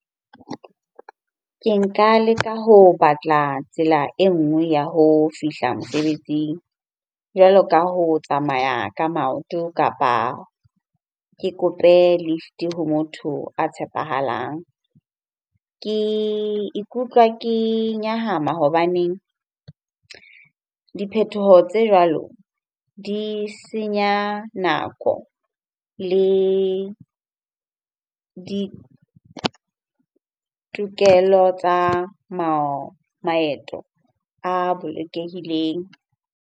Ke nka leka ho batla tsela e nngwe ya ho fihla mosebetsing jwalo ka ho tsamaya ka maoto kapa ke kope lift-e ha motho a tshepahalang. Ke ikutlwa ke nyahama hobaneng diphethoho tse jwalo di senya nako le ditokelo tsa maeto a bolokehileng.